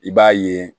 I b'a ye